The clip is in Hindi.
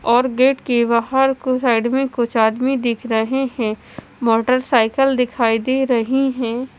और गेट के बहार कुछ साइड में कुछ आदमी दिख रहे है मोटरसाइकिल दिख रही है।